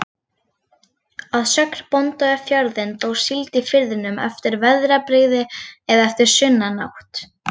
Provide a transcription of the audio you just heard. Að sögn bónda við fjörðinn, dó síld í firðinum eftir veðrabrigði eða eftir sunnanátt.